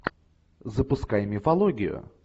запускай мифологию